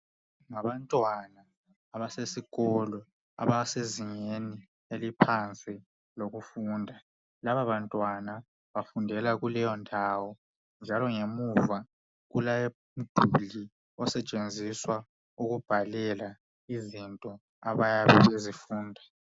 Ngabantwana abasesikolo abasezingeni eliphansi lokufunda ,laba bantwana bafundela kuleyo ndawo njalo ngemuva kulomduli osetshenziswa ukubhalela izinto abayabe bezifunda .